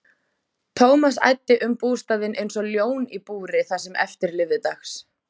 Thomas æddi um bústaðinn einsog ljón í búri það sem eftir lifði dags.